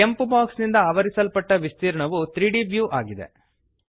ಕೆಂಪು ಬಾಕ್ಸ್ ನಿಂದ ಆವರಿಸಲ್ಪಟ್ಟ ವಿಸ್ತೀರ್ಣವು 3ದ್ ವ್ಯೂ ಇದೆ